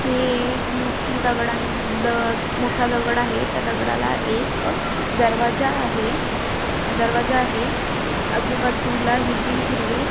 ही एक मोठी दगडां द मोठा दगड आहे त्या दगडाला एक दरवाजा आहे दरवाजा आहे. आजूबाजूल हिरवी-हिरवी--